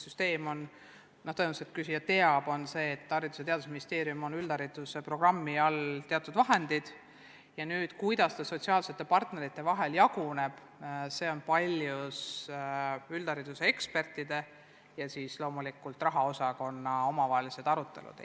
Küsija tõenäoliselt teab, et Haridus- ja Teadusministeeriumil on üldhariduse programmi nimetuse all teatud vahendid ja kuidas see raha sotsiaalsete partnerite vahel jaguneb, on paljus üldhariduse ekspertide ja loomulikult rahandusosakonna omavaheliste arutelude küsimus.